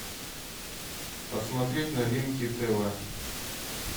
посмотреть новинки тв